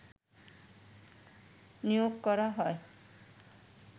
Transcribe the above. নিয়োগ করা হয়